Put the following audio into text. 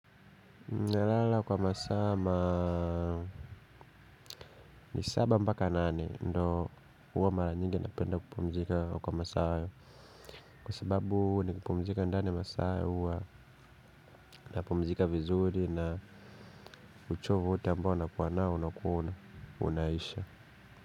Nalala kwa masaa ma ni saba mpaka nane ndo huwa mara nyingi napenda kupumzika kwa masaa. Kwa sababu nikipumzika ndani masaa huwa napumzika vizuri na uchovu wote ambao nakuwa nao unakuwa unaisha.